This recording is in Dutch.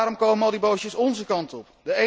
Waarom komen al die bootjes ónze kant op?